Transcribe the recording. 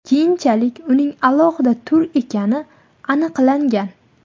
Keyinchalik uning alohida tur ekani aniqlangan.